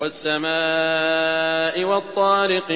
وَالسَّمَاءِ وَالطَّارِقِ